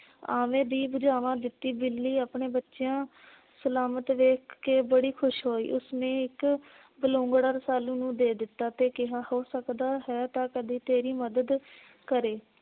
ਆਵੇ ਦੀ ਬੁਝਾਵਾ ਦਿੱਤੀ ਬਿੱਲੀ ਆਪਣੇ ਬੱਚਿਆਂ ਸਲਾਮਤ ਵੇਖ ਕੇ ਬੜੀ ਖੁਸ਼ ਹੋਈ। ਉਸਨੇ ਇੱਕ ਬਲੂੰਗੜਾ ਰੂਸਾਲੂ ਨੂੰ ਦੇ ਦਿੱਤਾ ਤੇ ਕਿਹਾ ਹੋ ਸਕਦਾ ਹੈ ਤਾਂ ਕਦੀ ਤੇਰੀ ਮਦਦ ਕਰੇ